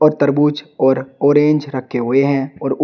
तरबूज और ऑरेंज रखे हुए हैं और उ--